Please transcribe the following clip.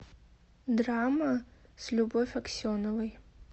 драма с любовь аксеновой